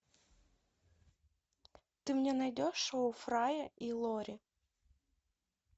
ты мне найдешь шоу фрая и лори